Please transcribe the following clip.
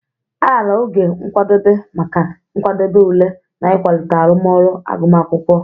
A raara oge nkwadebe maka nkwadebe ule na ịkwalite arụmọrụ agụmakwụkwọ.